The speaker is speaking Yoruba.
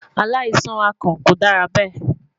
Alaisan akàn ko dara bẹ